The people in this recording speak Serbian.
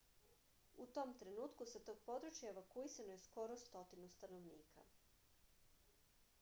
u tom trenutku sa tog područja evakuisano je skoro stotinu stanovnika